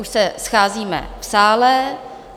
Už se scházíme v sále.